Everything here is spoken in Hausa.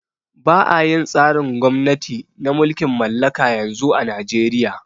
Ba'a yin tsarin gwamnati na mulkin mallaka yanzu a najeria